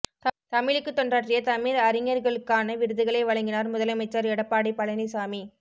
தமிழுக்கு தொண்டாற்றிய தமிழ் அறிஞர்களுக்கான விருதுகளை வழங்கினார் முதலமைச்சர் எடப்பாடி பழனிசாமி